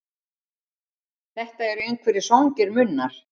Þetta eru einhverjir svangir munnar.